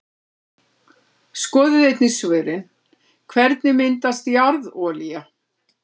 Skoðið einnig svörin: Hvernig myndast jarðolía?